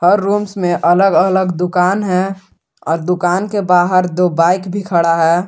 और रूम्स में अलग अलग दुकान है और दुकान के बाहर दो बाइक भी खड़ा है।